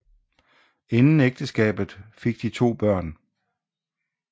Inden ægteskabet fik de to børn